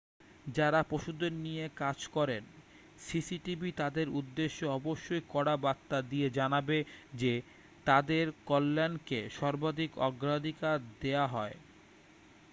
যাঁরা পশুদের নিয়ে কাজ করেন সিসিটিভি তাঁদের উদ্দেশ্যে অবশ্যই কড়া বার্তা দিয়ে জানাবে যে তাঁদের কল্যাণকে সর্বাধিক অগ্রাধিকার দেওয়া হয়